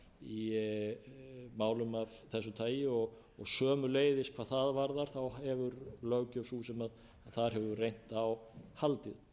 í málum af þessu tagi og sömuleiðis hvað það varðar hefur sú löggjöf sú sem þar hefur reynt á haldið